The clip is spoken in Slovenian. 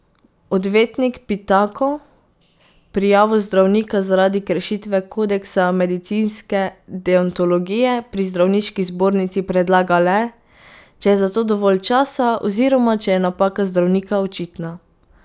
Odvetnik Pitako prijavo zdravnika zaradi kršitve kodeksa medicinske deontologije pri zdravniški zbornici predlaga le, če je zato dovolj časa oziroma če je napaka zdravnika očitna.